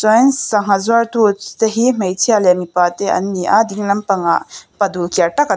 ai hian sangha zuartu te hi hmeichhia leh mipa te an ni a dinglam pangah pa dul kiar tak a--